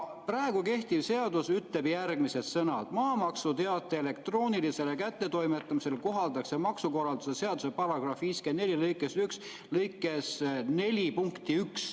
Praegu kehtivas seaduses on järgmised sõnad: maamaksuteate elektroonilisele kättetoimetamisele kohaldatakse ka maksukorralduse seaduse § 54 lõike 4 punkti 1.